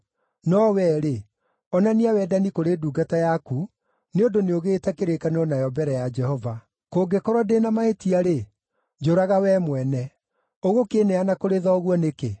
No wee rĩ, onania wendani kũrĩ ndungata yaku, nĩ ũndũ nĩũgĩĩte kĩrĩkanĩro nayo mbere ya Jehova. Kũngĩkorwo ndĩ na mahĩtia-rĩ, njũraga wee mwene! Ũgũkĩneana kũrĩ thoguo nĩkĩ?”